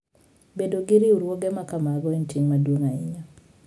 Bedo gi riwruoge ma kamago en ting ' maduong ' ahinya.